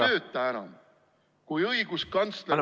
Kui õigusriik ei tööta enam, kui õiguskantsler on ...